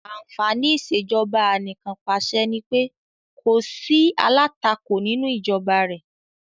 Àǹfàní ìṣèjọba anìkànpàṣẹ nipé kò sí alátakò nínú ìjọba rẹ̀.